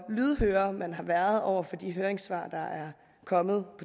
lydhøre man har været over for de høringssvar der er kommet